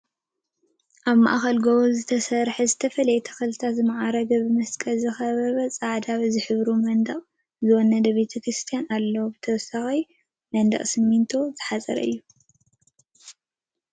ኣብ ማእኸል ጎቦታት ዝተሰርሐ ብዝተፈላለየ ተኽልታት ዝማዕረገን ብመስቀል ዝተኸበበን ፃዕዳ ዝሕብሩ መንደቅ ዝወነነን ቤተ ክርስቲያን ኣሎ፡፡ ብተወሳኺ ብመንደቅ ስሚንቶ ተሓፂሩ ይርከብ፡፡